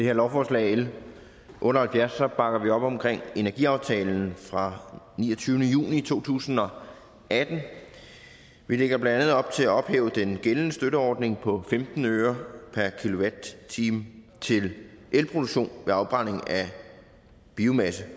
her lovforslag l otte og halvfjerds bakker vi op omkring energiaftalen fra niogtyvende juni to tusind og atten vi lægger blandt andet op til at ophæve den gældende støtteordning på femten øre per kilowatt time til elproduktion ved afbrænding af biomasse det